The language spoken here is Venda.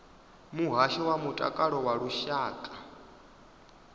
muhasho wa mutakalo wa lushaka